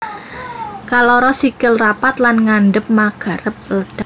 Kaloro sikil rapat lan ngadhep mangarep depan